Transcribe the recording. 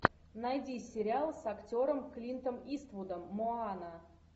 найди сериал с актером клинтом иствудом моана